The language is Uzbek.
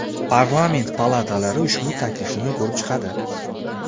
Parlament palatalari ushbu taklifni ko‘rib chiqadi.